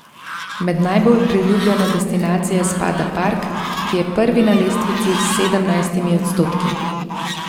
Med najbolj priljubljene destinacije spada park, ki je prvi na lestvici s sedemnajstimi odstotki.